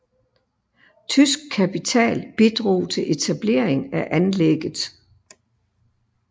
Tysk kapital bidrog til etablering af anlægget